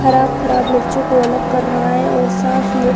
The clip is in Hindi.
खराब खराब मिर्चों को अलग कर रहा है और साफ मिर्च --